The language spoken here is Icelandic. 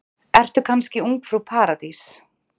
Ertu kannski ungfrú Paradís?